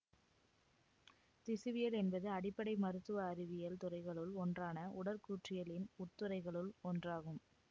திசுவியல் என்பது அடிப்படை மருத்துவ அறிவியல் துறைகளுள் ஒன்றான உடற்கூற்றியலின் உட்துறைகளுள் ஒன்றாகும்